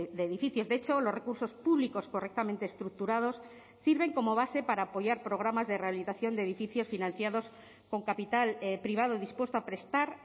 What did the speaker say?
de edificios de hecho los recursos públicos correctamente estructurados sirven como base para apoyar programas de rehabilitación de edificios financiados con capital privado dispuesto a prestar